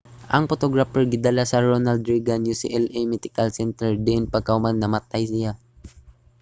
ang photographer gidala sa ronald reagan ucla medical center diin pagkahuman namatay siya